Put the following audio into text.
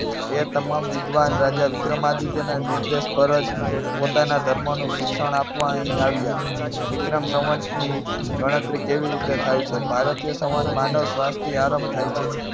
એ તમામ વિદ્વાન રાજા વિક્રમાદિત્યના નિર્દેશ પર જ પોતાના ધર્મનું શિક્ષણ આપવા અહીં આવ્યા. વિક્રમ સંવંતની ગણતરી કેવી રીતે થાય છે. ભારતીય સંવંત માનવ શ્વાસથી આરંભ થાય છે.